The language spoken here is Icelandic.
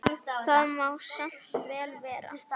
Það má samt vel vera.